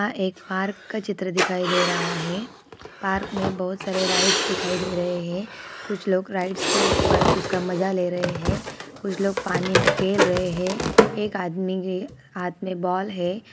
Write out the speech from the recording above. यह एक पार्क का चित्र दिखाई दे रहा है पार्क में बहुत सारे राइड्स दिखाई दे रहे है कुछ लोग राइड्स के ऊपर उसका मजा ले रहे है कुछ लोग पानी में खेल रहे है एक आदमी के हाथ में बॉल है।